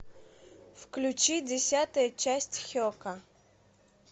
включи десятая часть хека